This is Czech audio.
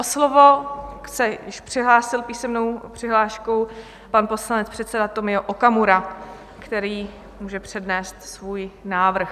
O slovo se již přihlásil písemnou přihláškou pan poslanec, předseda Tomio Okamura, který může přednést svůj návrh.